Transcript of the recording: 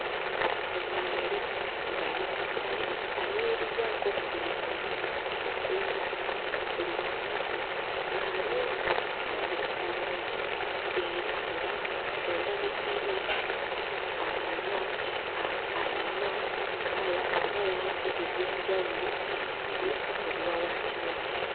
ŋŋaali ng'ali ku ttale ayimirizzaako okugulu kumu, okulala nga kuli wansi. ŋŋaali ono alabika bulungi era nga mu ndabika ye ayina ayina kkala oba langi ez'enjawulo eziri mu biwaawaatiro bye.